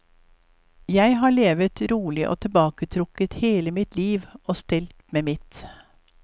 Jeg har levet rolig og tilbaketrukket hele mitt liv og stelt med mitt.